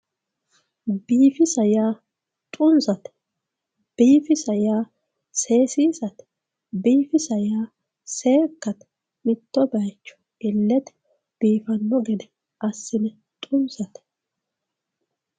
biifisa yaa xunisate biifisa yaa seesiisate biifisa yaa seekkate mitto baycho illete biifanno gede assine xunisate